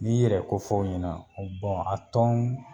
N'i y'i yɛrɛ ko fɔ u ɲɛna bɔn a tɔn